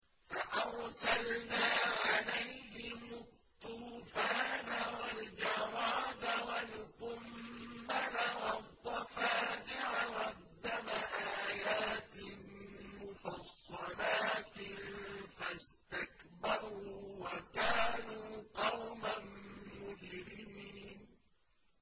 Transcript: فَأَرْسَلْنَا عَلَيْهِمُ الطُّوفَانَ وَالْجَرَادَ وَالْقُمَّلَ وَالضَّفَادِعَ وَالدَّمَ آيَاتٍ مُّفَصَّلَاتٍ فَاسْتَكْبَرُوا وَكَانُوا قَوْمًا مُّجْرِمِينَ